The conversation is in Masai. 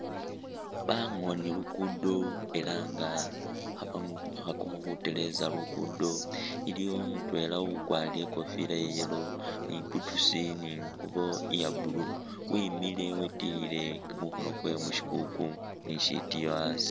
Bangooni luguudo ela nga khabakhakakho khuteleza luguudo iliwo mutweela ukwarile ikofila iya yellow ni boots ni inguubo iya blue wemile witelile kumukhono kweewe mushikuku ni shitiiyo hasi.